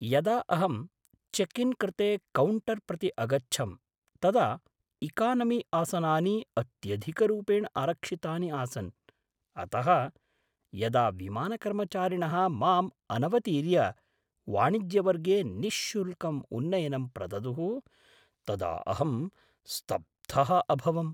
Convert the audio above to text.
यदा अहं check in कृते कौण्टर्प्रति अगच्छं तदा इकानमी आसनानि अत्यधिकरूपेण आरक्षितानि आसन्, अतः यदा विमानकर्मचारिणः माम् अनवतीर्य वाणिज्यवर्गे निःशुल्कम् उन्नयनं प्रददुः तदा अहं स्तब्धः अभवम्।